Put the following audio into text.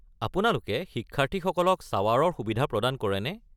আপোনালোকে শিক্ষাৰ্থীসকলক শ্বাৱাৰৰ সুবিধা প্ৰদান কৰেনে?